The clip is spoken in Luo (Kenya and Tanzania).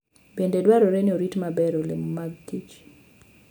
Bende dwarore ni orit maber olemo' mag kich.